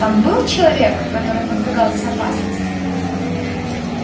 там был человек который подвергался опасности